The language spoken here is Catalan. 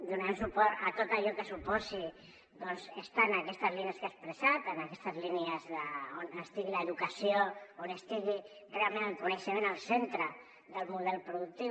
donem suport a tot allò que suposi estar en aquestes línies que he expressat en aquestes línies on estigui l’educació on estigui realment el coneixement al centre del model productiu